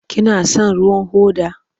Kina son ruwan hoda?